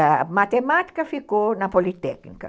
A Matemática ficou na Politécnica.